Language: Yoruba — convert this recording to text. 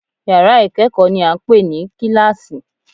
Yàrá ìkẹ́kọ̀ọ́ ni à ń pè ní kíláàsì